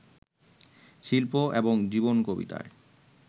শিল্প এবং জীবন কবিতায়